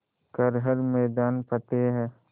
कर हर मैदान फ़तेह